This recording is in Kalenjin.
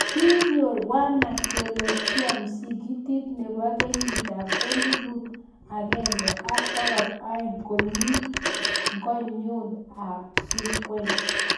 Kinyoor wanaakiolojia Msikitit nebo kenyit ab elibu agenge ak bokol aeng komi ing'onyut ab surkwen